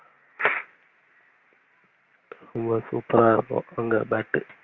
super ஆஹ் இருக்கும் அங்க bat